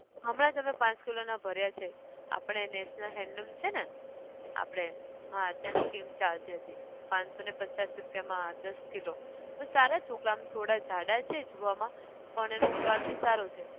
હમણાં જ અમે પાંચ kilo ના ભર્યાં છે, આપણે national handloom છે ને, આપણે, હા ત્યાં scheme ચાલતી હતી, પાનસો ને પચ્ચાસ રૂપિયા માં દસ kilo પર સારા ચોખા અમ થોડા જાડા છે જોવા માં પણ એનો સ્વાદ બી સારો છે